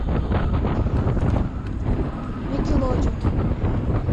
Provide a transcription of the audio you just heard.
никелодеон